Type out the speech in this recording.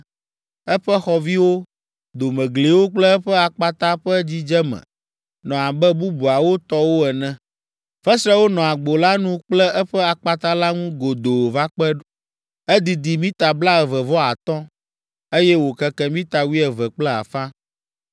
Eƒe xɔviwo, domegliwo kple eƒe akpata ƒe dzidzeme nɔ abe bubuawo tɔwo ene. Fesrewo nɔ agbo la nu kple eƒe akpata la ŋu godoo va kpe. Edidi mita blaeve vɔ atɔ̃, eye wòkeke mita wuieve kple afã.